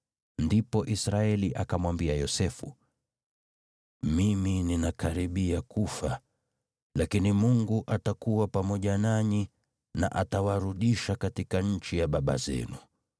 Ndipo Israeli akamwambia Yosefu, “Mimi ninakaribia kufa, lakini Mungu atakuwa pamoja nanyi, na atawarudisha katika nchi ya baba zenu.